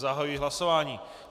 Zahajuji hlasování.